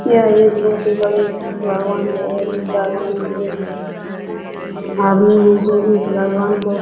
यह एक बहुत ही बड़ी है और इस एक आदमी है जो इस भगवान को --